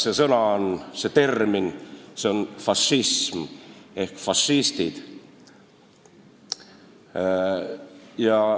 See sõna, see termin on "fašism" või "fašistid".